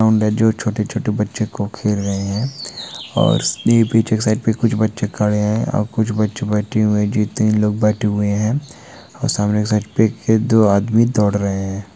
सामने जो छोटे-छोटे बच्चों को खेल रहे हैं। और उसने पीछे साइड पे कुछ बच्चे खड़े हैं और कुछ बच्चे बैठे हुए जो तीन लोग बैठे हुए हैं और सामने के साइड पे के दो आदमी दौड़ रहे हैं।